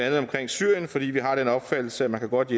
andet omkring syrien fordi vi har den opfattelse at man godt